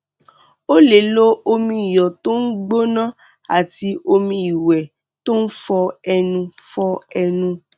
o lè lo omi iyọ tó ń gbóná àti omi ìwẹ tó ń fọ ẹnu fọ ẹnu